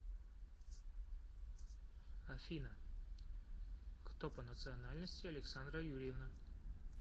афина кто по национальности александра юрьевна